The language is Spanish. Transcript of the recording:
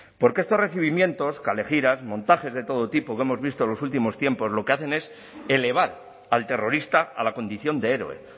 porque estos recibimientos kalejiras montajes de todo tipo que hemos visto en los últimos tiempos lo que hacen es elevar al terrorista a la condición de héroe